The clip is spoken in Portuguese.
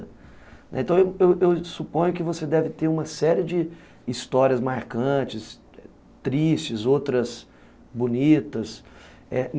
Né, então, eu eu eu suponho que você deve ter uma série de histórias marcantes, tristes, outras bonitas. Eh